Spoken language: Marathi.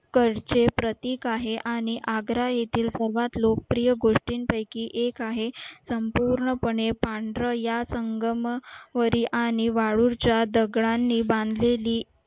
करचे प्रतीक आहे आणि आग्रा येथील सर्वात लोकप्रिय गोष्टींपैकी एक आहे संपूर्णपणे या संगमवरी आणि वाळूच्या दगडांनी बांधलेली